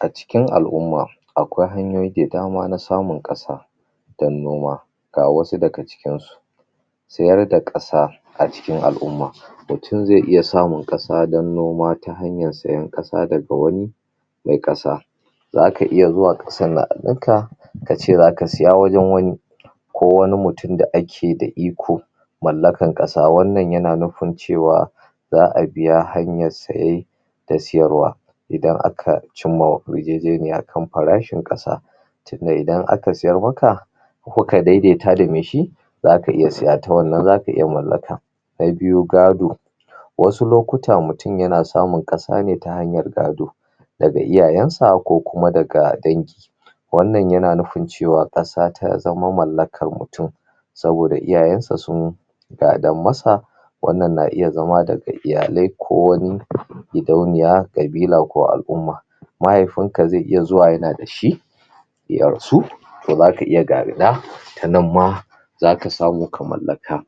acikin al'umma akwai hanyoyi da dama na samun ƙasa dan noma ga wasu daga cikin su siyar da ƙasa acikin al'umma mutun zai iya samun ƙasa dan noma ta hanyan siyan ƙasa daga wani mai ƙasa zaka iya zuwa ka kace zaka siya wajan wani ko wani mutun da ake da iko mallakan ƙasa wannan yana nufin cewa za'a biya hanyar saye da siyar wa idan aka cimma yarjejeniya kan farashin ƙasa tinda idan aka siyar maka kuka daidaita da mai shi zaka iya siya ta wannan zaka iya mallaka na biyu gado wasu lokuta mutun yana samun kasa ne ta hanyan gado daga iyayan sa ko kuma daga dangi wannan yana nufin cewa ƙasa tazama mallakan mutun saboda iyayan sa sun gadan masa wannan na iya zama daga iyalai ko wani gidauniya ƙabila ko al'umma mahaifin ka zai iya zuwa yanada shi ya rasu to zaka iya gada tanan ma zaka samu ka mallaka